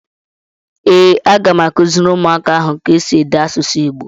Ee, a ga m akuziri umuaka ahụ ka esi ede asusu igbo.